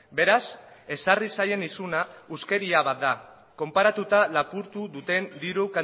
beraz ezarri zaien isuna huskeria bat da konparatuta lapurtu duten diru